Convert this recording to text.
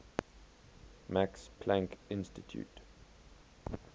max planck institute